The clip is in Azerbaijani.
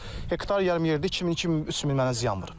Hektar yarım yerdə 2000, 2000, 3000 mənə ziyan vurub.